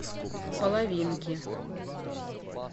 половинки